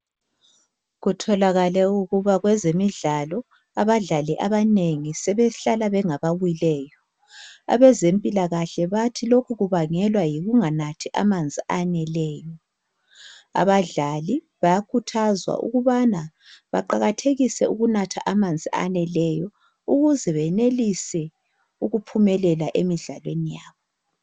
kutholakale ukuba kwezemidlalo abadlali abanengi sebehlala bengaba wileyo abezempilakahle bathi lokhu kubangelwa yikunganathi amanzi aneleyo abadlali bayakhuthazwa ukubana baqakathekise ukunatha amanzi aneleyo ukuze benelise ukuphumelela emidlalweni yabo